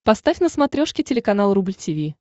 поставь на смотрешке телеканал рубль ти ви